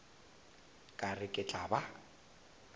ka re e tla ba